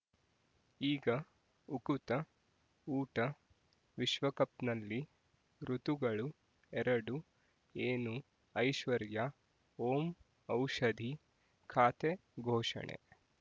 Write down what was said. ಈಗ ಉಕುತ ಊಟ ವಿಶ್ವಕಪ್‌ನಲ್ಲಿ ಋತುಗಳು ಎರಡು ಏನು ಐಶ್ವರ್ಯಾ ಓಂ ಔಷಧಿ ಖಾತೆ ಘೋಷಣೆ